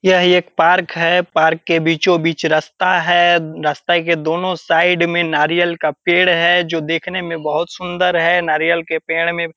यह एक पार्क है पार्क के बीचों बीच एक रास्ता है रास्ते के दोनों साइड में नारियल का पेड़ है जो देखने में बहुत सुंदर है नारियल के पेड़ में --